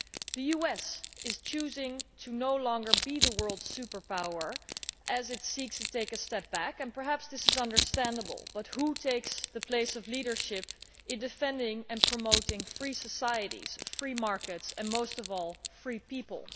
The US is choosing to no longer be the world superpower as it seeks to take a step back, and perhaps this is understandable but who takes the place of leadership in defending and promoting free societies, free markets and, most of all, free people?